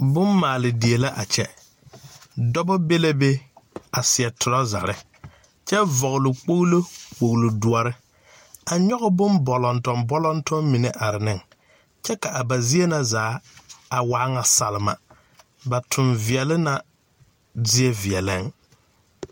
Bommaaledie la a kyɛ dɔba be la be a seɛ torɔzare kyɛ vɔgle kpɔglo kpɔglodoɔre a nyɔge bon bɔlɔntɔm bɔlɔntɔm mine a are ne kyɛ ka ba zie na zaa a waa ŋa salma ba tonveɛle na zie veɛlɛŋ.